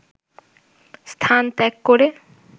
স্থান ত্যাগ করে